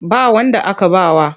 Ba wanda aka ba wa.